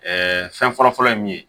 fɛn fɔlɔfɔlɔ ye mun ye